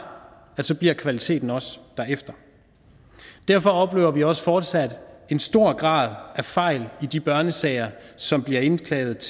at så bliver kvaliteten også derefter derfor oplever vi også fortsat en stor grad af fejl i de børnesager som bliver indklaget